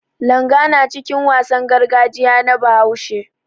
Langa na cikin wasan gargajiya na Bahaushe.